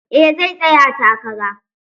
Eh zai tsaya takara.